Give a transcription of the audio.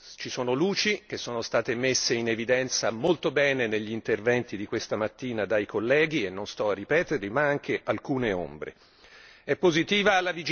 Sì e no. Ci sono luci, che sono state messe in evidenza molto bene negli interventi di questa mattina dai colleghi e non sto a ripeterle, ma anche alcune ombre.